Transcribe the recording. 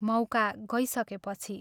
मौका गइसकेपछि।